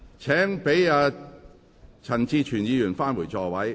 請讓陳志全議員返回座位。